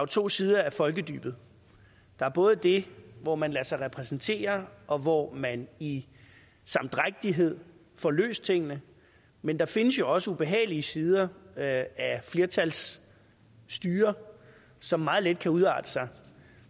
to sider af folkedybet der er både det hvor man lader sig repræsentere og hvor man i samdrægtighed får løst tingene men der findes jo også ubehagelige sider af flertalsstyre som meget let kan udarte sig